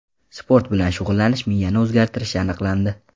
Sport bilan shug‘ullanish miyani o‘zgartirishi aniqlandi.